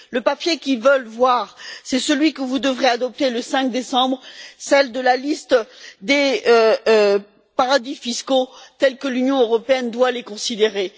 Le papier qu'ils veulent voir, c'est celui que vous devrez adopter le 5 décembre, à savoir la liste des paradis fiscaux, tels que l'Union européenne doit les considérer.